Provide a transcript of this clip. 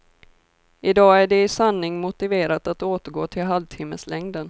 I dag är det i sanning motiverat att återgå till halvtimmeslängden.